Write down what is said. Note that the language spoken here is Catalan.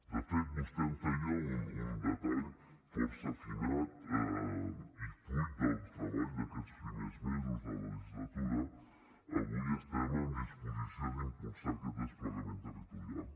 de fet vostè em feia un detall força afinat i fruit del treball d’aquests primers mesos de la legislatura avui estem en disposició d’impulsar aquest desplegament territorial